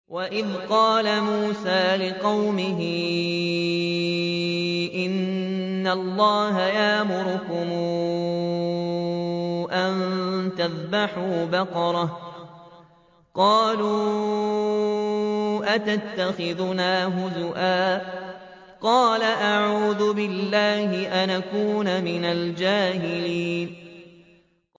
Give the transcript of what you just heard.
وَإِذْ قَالَ مُوسَىٰ لِقَوْمِهِ إِنَّ اللَّهَ يَأْمُرُكُمْ أَن تَذْبَحُوا بَقَرَةً ۖ قَالُوا أَتَتَّخِذُنَا هُزُوًا ۖ قَالَ أَعُوذُ بِاللَّهِ أَنْ أَكُونَ مِنَ الْجَاهِلِينَ